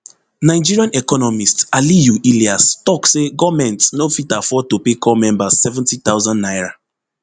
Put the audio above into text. nigerian economist aliyu ilias tok say goment no fit afford to pay corps members seventy thousand naira